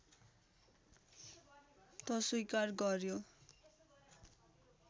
त स्वीकार गर्‍यो